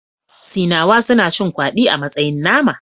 Sinawa suna cin kwadi a matsayin nama